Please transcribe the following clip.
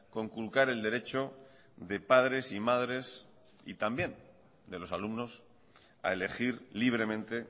conculcar el derecho de padres y madres y también de los alumnos a elegir libremente